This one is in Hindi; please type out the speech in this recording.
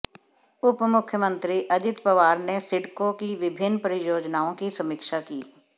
उपमुख्यमंत्री अजित पवार ने सिडको की विभिन्न परियोजनाओं की समीक्षा की